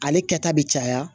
Ale kɛta bi caya